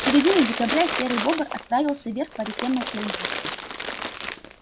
в середине декабря серый бобр отправился вверх по реке маккензи